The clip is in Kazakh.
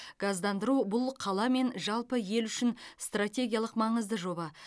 газдандыру бұл қала мен жалпы ел үшін стратегиялық маңызды жоба